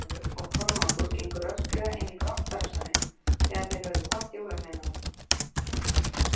Jón Ólafur og Kormákur gengu rösklega inn í brottfararsalinn þegar þeir höfðu kvatt jólaveinana.